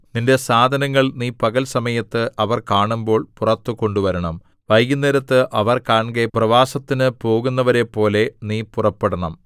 നിന്റെ സാധനങ്ങൾ നീ പകൽ സമയത്ത് അവർ കാണുമ്പോൾ പുറത്ത് കൊണ്ടുവരണം വൈകുന്നേരത്ത് അവർ കാൺകെ പ്രവാസത്തിനു പോകുന്നവരെപ്പോലെ നീ പുറപ്പെടണം